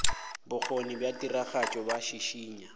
bokgoni bja tiragatšo bo šišinya